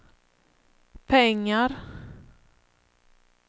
pengar